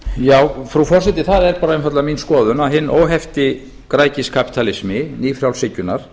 já frú forseti það er bara einfaldlega mín skoðun að hinn óhefti græðgiskapítalismi nýfrjálshyggjunnar